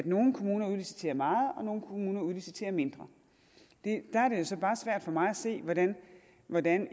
nogle kommuner udliciterer meget og nogle kommuner udliciterer mindre der er det så bare svært for mig at se hvordan hvordan